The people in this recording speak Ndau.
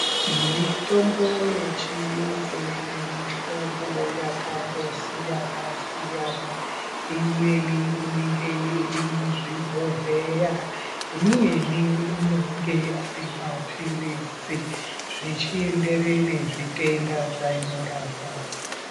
Mutombo yechiyungu ine mihlobo yakandosiyana -siyana, imweni inenge iri muzvibhodhleya imweni anonge ari maphilizi zvichienderana nezvitenda zvainorapa.